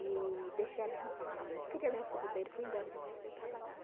E deixei a aliança lá na mesa, tirei a aliança do dedo e fui embora de manhã cedo trabalhar.